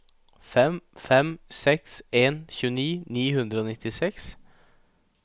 fem fem seks en tjueni ni hundre og nittiseks